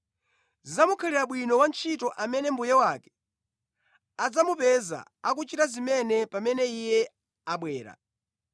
Zidzamukhalira bwino wantchito amene mbuye wake adzamupeza akuchita zimene pamene iye abwera.